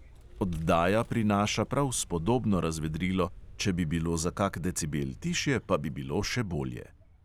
Oddaja prinaša prav spodobno razvedrilo, če bi bilo za kak decibel tišje, pa bi bilo še bolje.